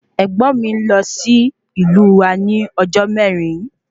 Ègbón mí lọ sí ìlú wa ní ọjọ mẹrin